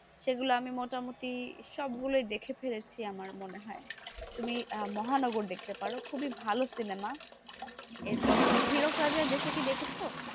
সেগুলো আমি মোটামুটি সবগুলোই দেখে ফেলেছি আমার মনে হয় তুমি মহানগর দেখতে পারো খুবই ভালো সিনেমা এরপর তুমি এরকম রাজার দেশে কি দেখেছো,